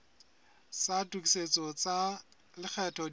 tsa tokisetso tsa lekgetho di